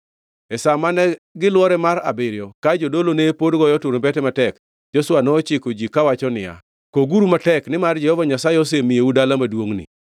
E sa mane gilwore mar abiriyo ka jodolo ne pod goyo turumbete matek, Joshua nochiko ji kawacho niya, “Koguru matek, nimar Jehova Nyasaye osemiyou dala maduongʼni!